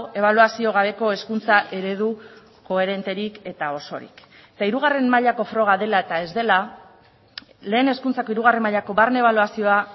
ebaluazio gabeko hezkuntza eredu koherenterik eta osorik eta hirugarren mailako froga dela eta ez dela lehen hezkuntzako hirugarren mailako barne ebaluazioa